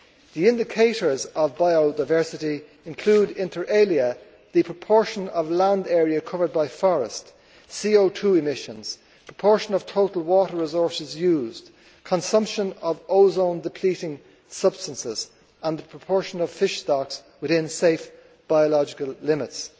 The indicators of biodiversity include, inter alia, the proportion of land area covered by forest, CO 2 emissions, the proportion of total water resources used, consumption of ozone depleting substances, and the proportion of fish stocks within safe biological limits.